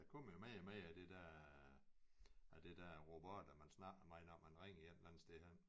Der kommer jo mere og mere af det der af det der robotter man snakker med når man ringer et eller andet sted hen